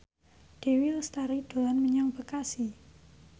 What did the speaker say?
Dewi Lestari dolan menyang Bekasi